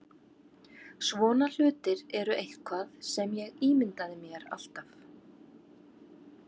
Svona hlutir eru eitthvað sem ég ímyndaði mér alltaf.